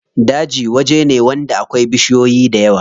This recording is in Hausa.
Daji waje ne wanda akwai bishiyoyi dayawa.